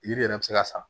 Yiri yɛrɛ bɛ se ka sa